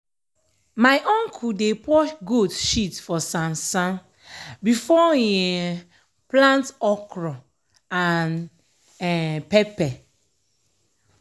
my uncle dey pour goat shit for sansan before e um plant okra and um pepper.